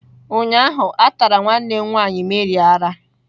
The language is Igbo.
Ụnyahụ a tara nwanne nwanyị Mary ara.